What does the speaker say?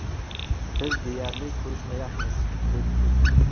Biz deyarli ko‘rishmayapmiz” dedi Putin.